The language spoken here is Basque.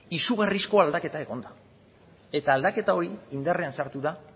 izugarrizko aldaketa egon da eta aldaketa hori indarrean sartu da